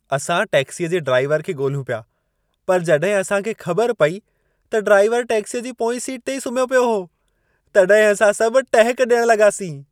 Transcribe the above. असां टैक्सीअ जे ड्राइवर खे ॻोल्हियूं पिया। पर जॾहिं असां खे ख़बर पई त ड्राइवर टैक्सीअ जी पोईं सीट ते ई सुम्हियो पियो हो, तॾहिं असां सभु टहिक ॾियण लॻासीं।